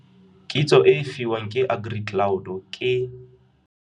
Kitso e e fiwang ke AgriCloud ke.